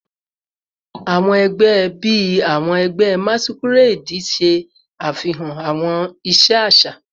Awọn ẹgbẹ bii awọn ẹgbẹ masquerade ṣe afihan awọn iṣe aṣa